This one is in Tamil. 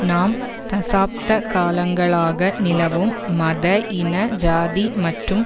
நாம் தசாப்த காலங்களாக நிலவும் மத இன சாதி மற்றும்